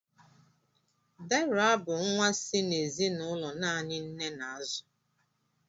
Deraa bụ nwa si n'ezinụlọ naanị nne na-azù.